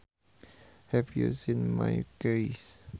Have you seen my keys